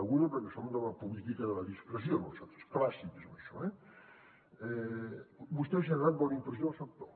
deguda perquè som de la política de la discreció nosaltres clàssics amb això eh vostè ha generat bona impressió al sector